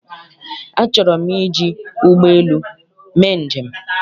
Achọrọ m iji ụgbọelu mee njem.